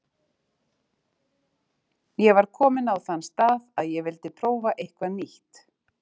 Ég var kominn á þann stað að ég vildi prófa eitthvað nýtt.